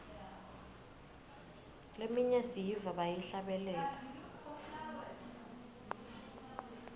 leminye siyiva bayihlabelela